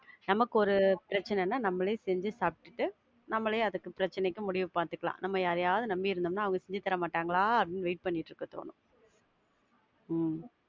நமக்கு ஒரு பிரச்சனைனா நம்மளே செஞ்சி சாப்பிட்டுக்கிட்டு நம்மளே அந்த பிரச்னைக்கு முடிவு பாத்துக்கலாம், நம்ம யாரையாவது நம்பி இருந்தோம்னா, அவங்க செஞ்சி தர மாட்டாங்களா அப்படின்னு wait பண்ணிட்டு இருக்கா தோனும். உம்